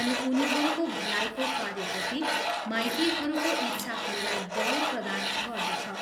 अनि उनीहरूको भलाइको कार्यप्रति माइतीहरूको इच्छाहरूलाई बल प्रदान गर्दछ।